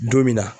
Don min na